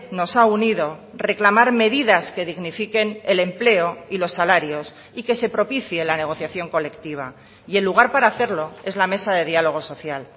nos ha unido reclamar medidas que dignifiquen el empleo y los salarios y que se propicie la negociación colectiva y el lugar para hacerlo es la mesa de diálogo social